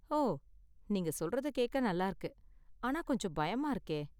ஓ, நீங்க சொல்றத கேக்க நல்லா இருக்கு, ஆனா கொஞ்சம் பயமா இருக்கே.